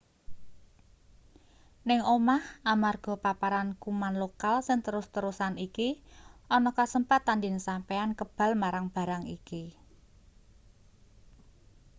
ning omah amarga paparan kuman lokal sing terus-terusan iki ana kasempatan yen sampeyan kebal marang barang iki